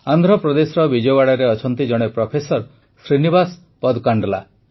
ଆନ୍ଧ୍ରପ୍ରଦେଶର ବିଜୟୱାଡ଼ାରେ ଅଛନ୍ତି ଜଣେ ପ୍ରଫେସର ଶ୍ରୀନିବାସ ପଦକାଣ୍ଡଲା